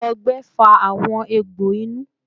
Awọn ọgbẹ fa awọn egbo inu